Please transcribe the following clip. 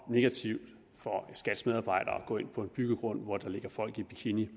og negativt for skats medarbejdere at gå ind på en byggegrund hvor der ligger folk i bikini